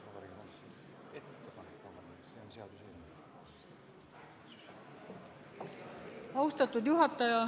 Austatud juhataja!